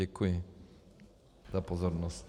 Děkuji za pozornost.